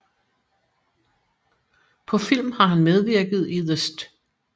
På film har han medvirket i The St